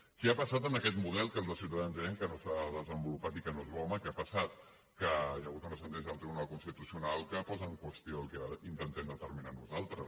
què ha passat amb aquest model que els de ciutadans deien que no s’ha desenvolupat i que no és bo home què ha passat que hi ha hagut una sentència del tribunal constitucional que posa en qüestió el que intentem determinar nosaltres